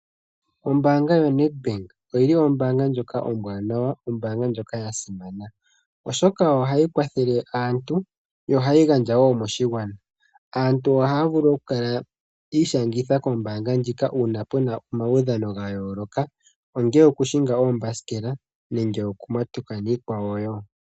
Ombaanga yoNedbank oyo ombaanga ombwaanawa noya simana oshoka ohayi kwathele aantu yo ohayi gandja woo moshigwana. Aantu ohaya vulu okwiishangitha kombaanga ndjoka uuna puna omaudhano gayooloka ongele okuhinga oombasikela nenge okumatuka nayilwe woo.